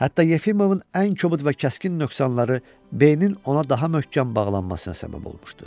Hətta Yefimovun ən kobud və kəskin nöqsanları B-nin ona daha möhkəm bağlanmasına səbəb olmuşdu.